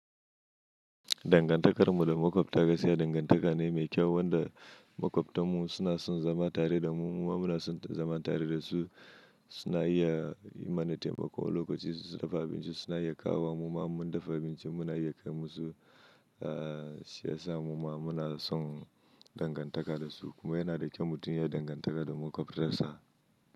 Dangantakarmu da makwabta gaskiya dangantaka ne mai kyau wanda makwabtanmu suna son zama tare da mu, muma muna son zama tare da su. Suna iya yi mana taimako lokacin su dafa abinci suna iya kawo wa muma mun dafa abinci muna iya kai musu, ahhh shi yasa muma muna son dangantaka da su kuma yana da kyau mutum ya dangantaka da makwabtansa.